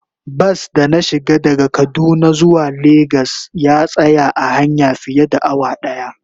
Bas da na shiga daga kaduna zuwa lagos ya tsaya a hanya fiye da awa daya.